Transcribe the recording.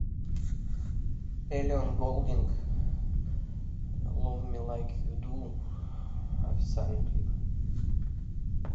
элли голдинг лов ми лайк ю ду официальный клип